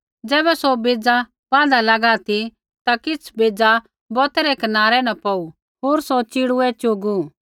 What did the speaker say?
ज़ैबै सौ बेज़ै बाँहदा लागा ती ता किछ़ बेज़ा बौतै रै कनारै न पौड़ू होर सौ च़िड़ूऐ च़ुगू